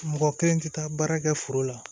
Mɔgɔ kelen tɛ taa baara kɛ foro la